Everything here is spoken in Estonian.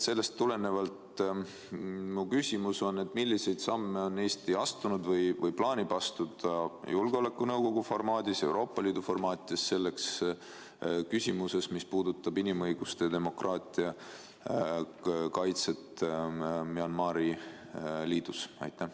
Sellest tulenevalt on mul küsimus, et milliseid samme on Eesti astunud või plaanib astuda Julgeolekunõukogu formaadis ja Euroopa Liidu formaatides küsimuses, mis puudutab inimõiguste ja demokraatia kaitset Myanmari Liidu Vabariigis.